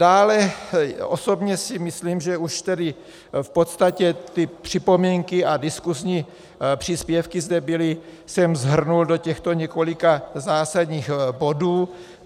Dále, osobně si myslím, že už tedy v podstatě ty připomínky a diskusní příspěvky zde byly, jsem shrnul do těchto několika zásadních bodů.